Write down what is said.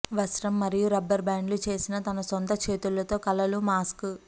వస్త్రం మరియు రబ్బరు బ్యాండ్లు చేసిన తన సొంత చేతులతో కలలు మాస్క్